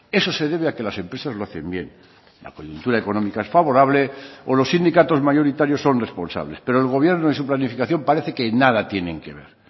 eso se debe a que las empresas lo hacen bien la coyuntura económica es favorable o los sindicatos mayoritarios son responsables pero el gobierno en su planificación parece que nada tienen que ver